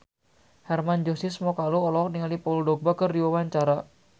Hermann Josis Mokalu olohok ningali Paul Dogba keur diwawancara